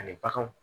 Ani baganw